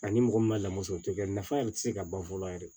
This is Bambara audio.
Ani mɔgɔ min ma lamɔ sɔrɔ o tɛ kɛ nafa yɛrɛ tɛ se ka ban fɔlɔ yɛrɛ